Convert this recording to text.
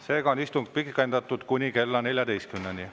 Seega on istung pikendatud kuni kella 14-ni.